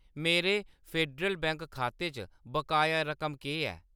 मेरे Federal Bank खाते च बकाया रकम केह् ऐ ?